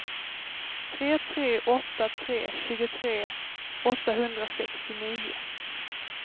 tre tre åtta tre tjugotre åttahundrasextionio